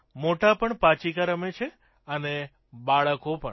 મોટા પણ પાંચીકા રમે છે અને બાળકો પણ